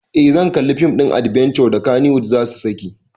Eh zan kalli fim ɗin adbenture da kannywood zasu saki